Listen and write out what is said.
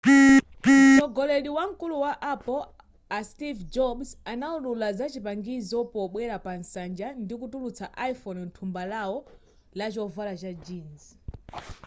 mtsogoleri wamkulu wa apple a steve jobs anawulula zachipangizo pobwera pa nsanja ndikutulutsa iphone mthumba lawo lachovala cha jeans